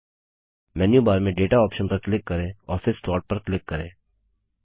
menu bar में data option पर click करें और फिर सोर्ट पर क्लिक करें